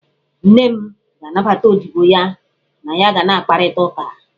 Nne m ga-anabata odibo ha na ya ga na-akparịta ụka.